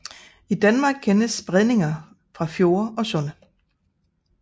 I Danmark kendes bredninger fra fjorde og sunde